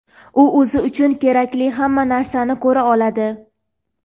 "u o‘zi uchun kerakli hamma narsani ko‘ra oladi".